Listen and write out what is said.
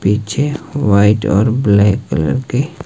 पीछे व्हाइट और black colour की--